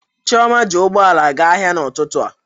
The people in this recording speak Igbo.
Chioma ji ụgbọ ala gaa ahịa n'ụtụtụ a.